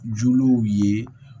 Jolenw ye